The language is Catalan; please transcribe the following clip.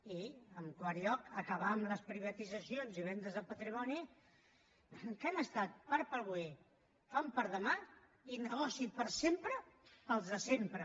i en quart lloc acabar amb les privatitzacions i vendes de patrimoni que han estat pa per avui fam per demà i negoci per sempre per als de sempre